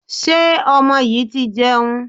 Ṣé ọmọ yìí ti jẹun?